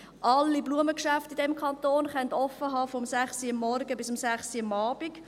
Alle Blumengeschäfte in diesem Kanton können von 6 Uhr morgens bis 18 Uhr abends offen haben.